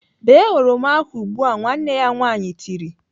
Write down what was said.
"Bee oroma ahụ ugbu! "Nwanne ya nwaanyị tiri.